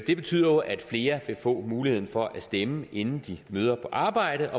det betyder jo at flere vil få muligheden for at stemme inden de møder på arbejde